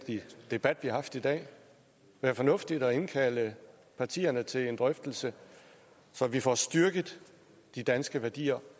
debat vi har haft i dag være fornuftigt at indkalde partierne til en drøftelse så vi får styrket de danske værdier